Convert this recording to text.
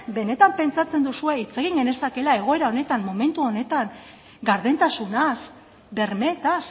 benetan pentsatzen duzue hitz egin genezakeela egoera honetan momentu honetan gardentasunaz bermeetaz